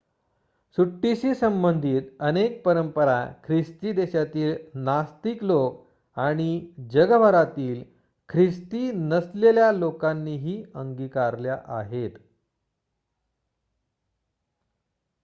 सुट्टीशी संबंधित अनेक परंपरा ख्रिस्ती देशांतील नास्तिक लोक आणि जगभरातील ख्रिस्ती नसलेल्या लोकांनीही अंगीकारल्या आहेत